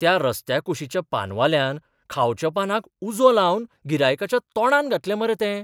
त्या रस्त्या कुशीच्या पानवाल्यान खावच्या पानाक उजो लावन गिरायकाच्या तोंडांत घातलें मरे तें!